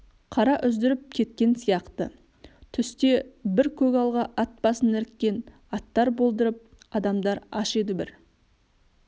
қара үздіріп кеткен сияқты түсте бір көгалға ат басын іріккен аттар болдырып адамдар аш еді бір